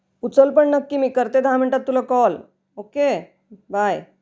उचल पण नक्की मी करते तुला दहा मिनटात कॉल, बाय.